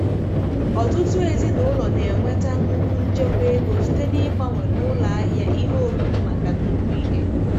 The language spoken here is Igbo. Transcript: Ọtụtụ ezinụlọ na-enweta nnukwu nchekwa ego site na-ịgbanwe n'ụlọ ahịa ihe oriri maka nnukwu ihe.